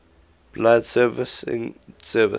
public broadcasting service